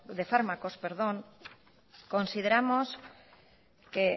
de fármacos consideramos